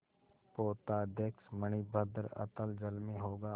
पोताध्यक्ष मणिभद्र अतल जल में होगा